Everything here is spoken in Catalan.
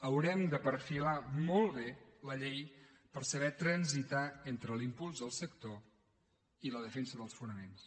haurem de perfilar molt bé la llei per saber transitar entre l’impuls del sector i la defensa dels fonaments